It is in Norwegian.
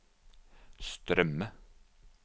strømme